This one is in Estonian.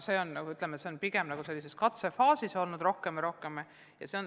Need on pigem sellises katsefaasis ja nende tegeletakse aina rohkem ja rohkem.